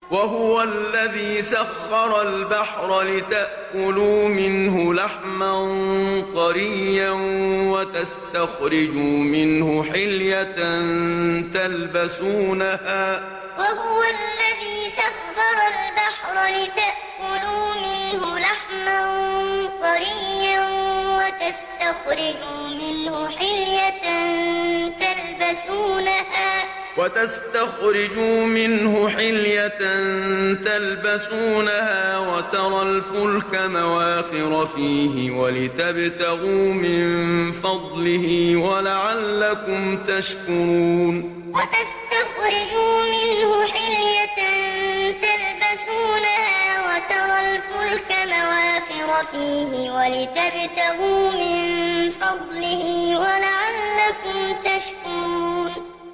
وَهُوَ الَّذِي سَخَّرَ الْبَحْرَ لِتَأْكُلُوا مِنْهُ لَحْمًا طَرِيًّا وَتَسْتَخْرِجُوا مِنْهُ حِلْيَةً تَلْبَسُونَهَا وَتَرَى الْفُلْكَ مَوَاخِرَ فِيهِ وَلِتَبْتَغُوا مِن فَضْلِهِ وَلَعَلَّكُمْ تَشْكُرُونَ وَهُوَ الَّذِي سَخَّرَ الْبَحْرَ لِتَأْكُلُوا مِنْهُ لَحْمًا طَرِيًّا وَتَسْتَخْرِجُوا مِنْهُ حِلْيَةً تَلْبَسُونَهَا وَتَرَى الْفُلْكَ مَوَاخِرَ فِيهِ وَلِتَبْتَغُوا مِن فَضْلِهِ وَلَعَلَّكُمْ تَشْكُرُونَ